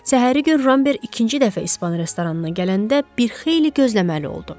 Səhəri gün Ramber ikinci dəfə İspan restoranına gələndə bir xeyli gözləməli oldu.